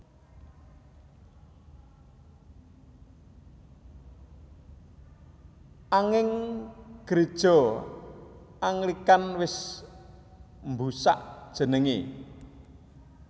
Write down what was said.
Anging Gréja Anglikan wis mbusak jenengé